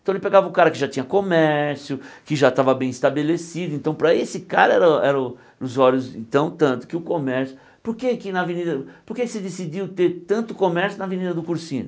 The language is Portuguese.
Então ele pegava o cara que já tinha comércio, que já estava bem estabelecido, então para esse cara era o era o os olhos então tanto que o comércio... Por que é que na avenida por que se decidiu ter tanto comércio na Avenida do Cursinho?